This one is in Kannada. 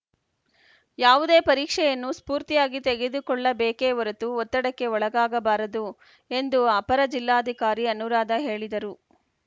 ಯಾವುದೇ ಪರೀಕ್ಷೆಯನ್ನು ಸ್ಫೂರ್ತಿಯಾಗಿ ತೆಗೆದುಕೊಳ್ಳಬೇಕೆ ಹೊರತು ಒತ್ತಡಕ್ಕೆ ಒಳಗಾಗಬಾರದು ಎಂದು ಅಪರ ಜಿಲ್ಲಾಧಿಕಾರಿ ಅನುರಾಧ ಹೇಳಿದರು